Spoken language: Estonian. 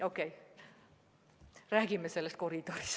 Okei, räägime sellest koridoris.